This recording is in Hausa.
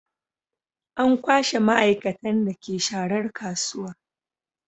An kwashe maaikatan da ke sharar kasuwa